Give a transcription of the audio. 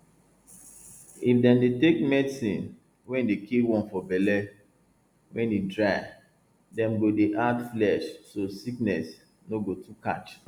if dem dey take medicine wey dey kill worm for belle wen e dry dem go dey add flesh so sickness no go too catch